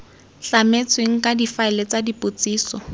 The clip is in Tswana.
tlametswe ka difaele tsa dipotsiso